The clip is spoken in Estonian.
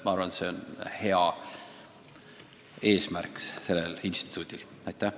Ma arvan, et see on sellel instituudil hea eesmärk.